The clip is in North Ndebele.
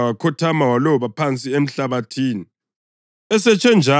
Waphinda wakhothama waloba phansi emhlabathini.